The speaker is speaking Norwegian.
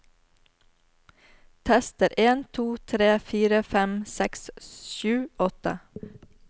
Tester en to tre fire fem seks sju åtte